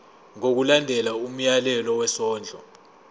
ngokulandela umyalelo wesondlo